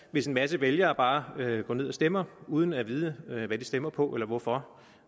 hvis en masse vælgere bare går ned og stemmer uden at vide hvad de stemmer på eller hvorfor